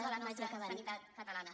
de la nostra sanitat catalana